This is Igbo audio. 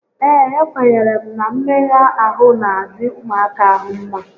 Ee, ekwenyere m na mmegha ahụ n'adị ụmụaka ahụ mmá